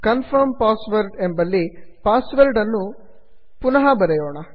confirm password confirm ಎಂಬಲ್ಲಿ password ಅನ್ನು ಮತ್ತೆ ಬರೆಯೋಣ